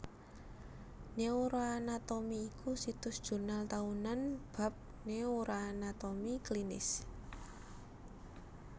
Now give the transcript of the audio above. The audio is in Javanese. Neuroanatomy iku situs jurnal taunan bab neuroanatomi klinis